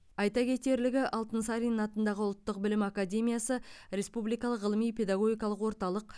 айта кетерлігі алтынсарин атындағы ұлттық білім академиясы республикалық ғылыми педагогикалық орталық